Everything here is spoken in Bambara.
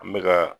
An bɛ ka